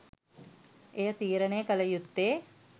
එය තීරණය කළ යුත්තේ